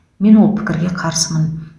мен ол пікірге қарсымын